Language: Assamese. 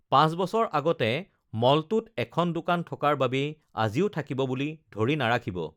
পাঁচ বছৰ আগতে মলটোত এখন দোকান থকাৰ বাবেই আজিও থাকিব বুলি ধৰি নাৰাখিব৷